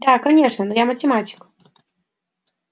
да конечно но я математик